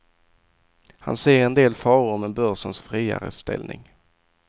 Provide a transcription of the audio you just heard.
Han ser en del faror med börsens friare ställning.